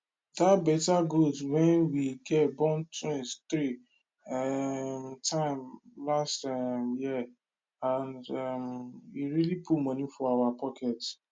that better goat wey we get born twin three um time last um year and um e really put money for our pocket